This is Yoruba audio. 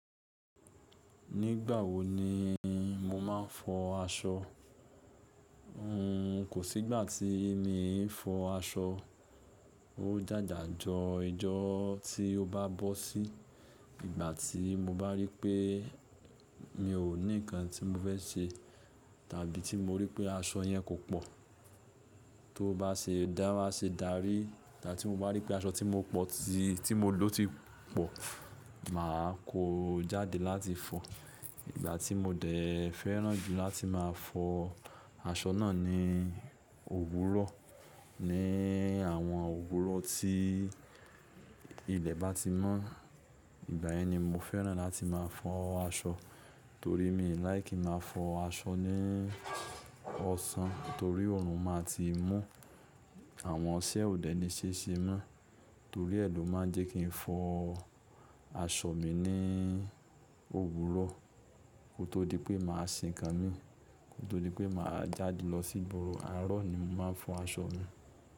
Nígbà wo ni mo máa ń fọ aṣọ? N kò sí ìgbà tí èmi ì fọ aṣọ. Ó jájà jọ ìjọ tí ó bá bọ́ sí. Ìgbà tí mo bá rí pé mi ò ní nǹkan tí mo fẹ́ ṣe, tàbí tí mo rí pé aṣọ yẹn kò pọ̀, tó bá ṣe dára ṣe dàrí, tàbí tí mo bá rí pé aṣọ tí mo pọ̀ sí, tí mo lò ti pọ̀, màá kó jáde láti fọ. Ìgbà tí mo dẹ̀ fẹ́ràn jù láti máa fọ aṣọ náà ni òwúrọ̀. Ni àwọn òwúrọ̀ tí ilẹ̀ bá ti mọ́, ìgbà yẹn ni mo fẹ́ràn láti máa fọ aṣọ. Torí mi ò láìkí máa fọ aṣọ ní ọ̀sán, torí òòrùn máa ti mú, àwọn ọṣẹ ò dẹ̀ ní ṣéṣe mọ́. Torí ẹ lo máa ń jẹ́ kí n fọ aṣọ mi ní òwúrọ̀. Kò tó di pé màá sin ikán mi, kò tó di pé màá jáde lọ sí igbóró. Àárọ̀ ni mo máa ń fọ aṣọ mi.